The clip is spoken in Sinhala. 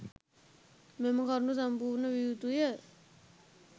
මෙම කරුණු සම්පූර්ණ විය යුතුය.